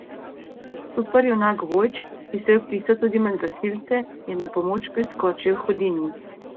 Superjunak Vojč, ki se je vpisal tudi med gasilce, je na pomoč priskočil Hudinji.